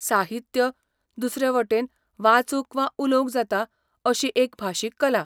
साहित्य, दुसरे वटेन, वाचूंक वा उलोवंक जाता अशी एक भाशीक कला.